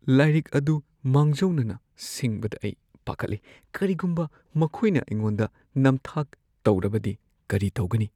ꯂꯥꯏꯔꯤꯛ ꯑꯗꯨ ꯃꯥꯡꯖꯧꯅꯅ ꯁꯤꯡꯕꯗ ꯑꯩ ꯄꯥꯈꯠꯂꯤ ꯀꯔꯤꯒꯨꯝꯕ ꯃꯈꯣꯏꯅ ꯑꯩꯉꯣꯟꯗ ꯅꯝꯊꯥꯛ ꯇꯧꯔꯕꯗꯤ ꯀꯔꯤ ꯇꯧꯒꯅꯤ?